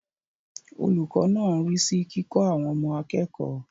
Olùkọ́ náà ń rí sí kíkọ́ àwọn ọmọ akẹ́kọ̀ọ́.